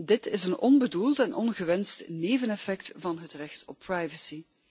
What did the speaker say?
Dit is een onbedoeld en ongewenst neveneffect van het recht op privacy.